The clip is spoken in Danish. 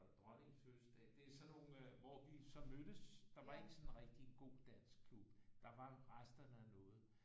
Og dronningens fødselsdag det er sådan nogle øh hvor vi så mødtes der var ikke sådan en rigtig god dansk klub der var resterne af noget